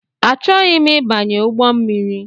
Achọghị m ịbanye ụgbọmmiri